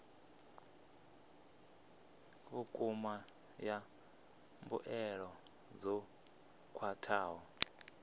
vhukuma ya mbuelo dzo khwathaho